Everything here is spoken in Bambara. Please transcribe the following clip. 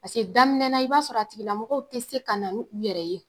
Paseke daminɛna i b'a sɔrɔ a tigilamɔgɔw te se ka na n'u yɛrɛ ye dɔgɔtɔrɔso la